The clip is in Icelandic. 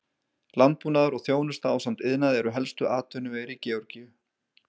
Landbúnaður og þjónusta ásamt iðnaði eru helstu atvinnuvegir í Georgíu.